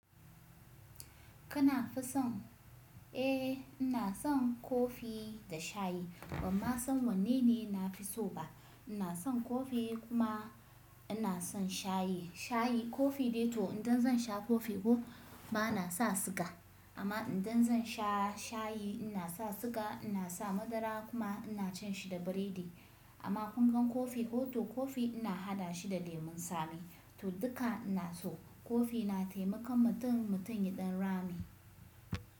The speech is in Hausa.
Kana fison? Eh ina son kofi da shayi bamman son wanne ne na fi so ba. Ina son kofi kuma ina son shayi. Shayi kofi dai to idan zan sha kofi ko bana sa siga amma idan zan sha shayi ina sa siga, ina sa madara kuma ina cin shi da biredi. Amma ƙungan kofi to kofi ina haɗa shi da lemun tsami to duka ina so. Kofi na taimakon mutum mutum yaɗan rame.